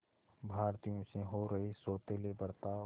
भारतीयों से हो रहे सौतेले बर्ताव